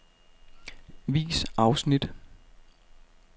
Vis afsnit.